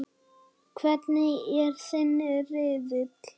Hvernig er þinn riðill?